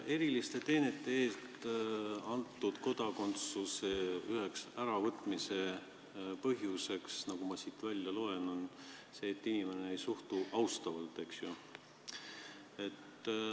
Eriliste teenete eest antud kodakondsuse üheks äravõtmise põhjuseks, nagu ma siit välja loen, on see, kui inimene ei suhtu riiki austavalt.